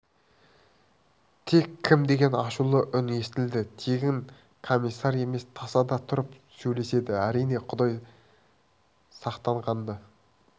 тек кім деген ашулы үн естілді тегін комиссар емес тасада тұрып сөйлеседі әрине құдай сақтанғанды